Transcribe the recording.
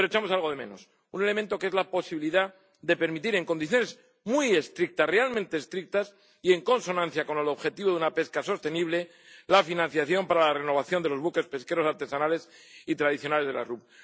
Pero echamos algo de menos un elemento que es la posibilidad de permitir en condiciones muy estrictas, realmente estrictas, y en consonancia con el objetivo de una pesca sostenible, la financiación para la renovación de los buques pesqueros artesanales y tradicionales de las RUP.